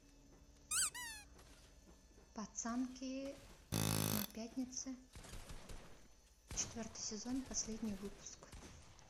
пацанки на пятнице четвертый сезон последний выпуск